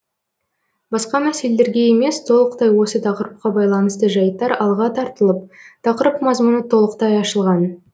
басқа мәселелерге емес толықтай осы тақырыпқа байланысты жайттар алға тартылып тақырып мазмұны толықтай ашылған